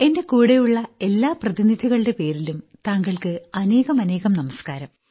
എന്റെ കൂടെയുള്ള എല്ലാ പ്രതിനിധികളുടേയും പേരിലും താങ്കൾക്ക് അനേകമനേകം നമസ്ക്കാരം